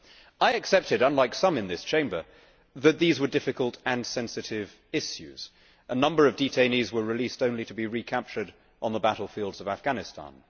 I accepted unlike some in this Chamber that these were difficult and sensitive issues. A number of detainees were released only to be recaptured on the battlefields of Afghanistan.